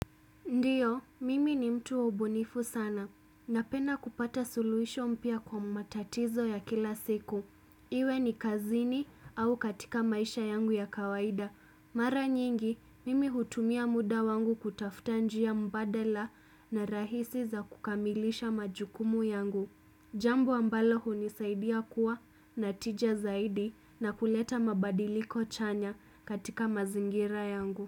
Ndiyo, mimi ni mtu wa ubunifu sana. Napenda kupata suluhisho mpya kwa matatizo ya kila siku. Iwe ni kazini au katika maisha yangu ya kawaida. Mara nyingi, mimi hutumia muda wangu kutafta njia mbadala na rahisi za kukamilisha majukumu yangu. Jambo ambalo hunisaidia kuwa na tija zaidi na kuleta mabadiliko chanya katika mazingira yangu.